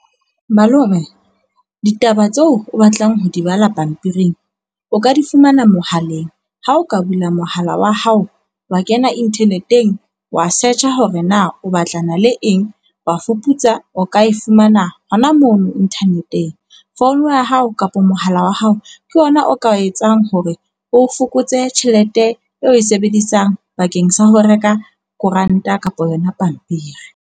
Malome, ditaba tseo o batlang ho di bala pampiring o ka di fumana mohaleng. Ha o ka bula mohala wa hao, wa kena internet-eng wa search-a hore na o batlana le eng, wa fuputsa, o ka e fumana hona mono inthaneteng. Founu ya hao kapa mohala wa hao ke ona o ka etsang hore o fokotse tjhelete eo o e sebedisang bakeng sa ho reka koranta kapa yona pampiri.